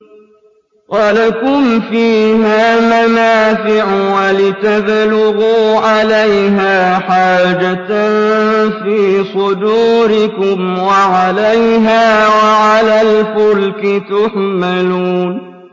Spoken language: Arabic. وَلَكُمْ فِيهَا مَنَافِعُ وَلِتَبْلُغُوا عَلَيْهَا حَاجَةً فِي صُدُورِكُمْ وَعَلَيْهَا وَعَلَى الْفُلْكِ تُحْمَلُونَ